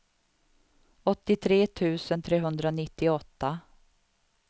åttiotre tusen trehundranittioåtta